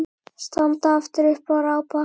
Standa aftur upp og rápa.